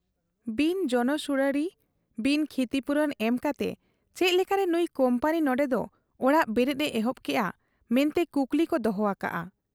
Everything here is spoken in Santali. ᱵᱤᱱ ᱡᱚᱱᱚᱥᱩᱬᱟᱬᱤ, ᱵᱤᱱ ᱠᱷᱛᱤᱯᱩᱨᱚᱱ ᱮᱢᱠᱟᱛᱮ ᱪᱮᱫ ᱞᱮᱠᱟᱨᱮ ᱱᱩᱭ ᱠᱩᱢᱯᱟᱱᱤ ᱱᱚᱱᱰᱮᱫᱚ ᱚᱲᱟᱜ ᱵᱮᱨᱮᱫ ᱮ ᱮᱦᱚᱵ ᱠᱮᱜ ᱟ ᱢᱮᱱᱛᱮ ᱠᱩᱠᱞᱤᱠᱚ ᱫᱚᱦᱚ ᱟᱠᱟᱜ ᱟ ᱾